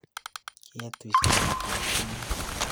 Keetuy saaniit ab kimyeet?